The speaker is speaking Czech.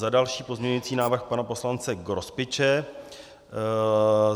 Za další, pozměňující návrh pana poslance Grospiče.